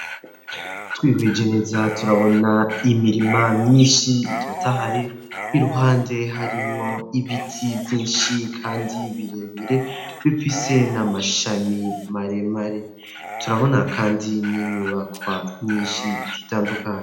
Twihweje neza turabona imirima myinshi itotahaye iruhande harimwo ibiti byinshi kandi birebire bifise n'amashami maremare turabona kandi n'inyubakwa myinshi itandukanye.